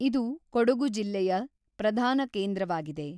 ಇದು ಕೊಡಗು ಜಿಲ್ಲೆಯ ಪ್ರಧಾನ ಕೇಂದ್ರ‌ವಾಗಿದೆ .